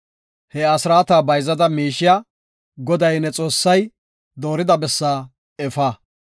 he asraata bayzada miishiya Goday, ne Xoossay doorida bessaa efa.